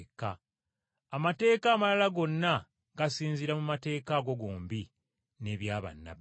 Amateeka amalala gonna gasinziira mu mateeka ago gombi ne bya bannabbi.”